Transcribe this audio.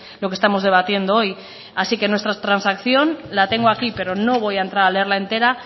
lo que estamos debatiendo hoy así que nuestra transacción la tengo aquí pero no voy a entrar a leerla entera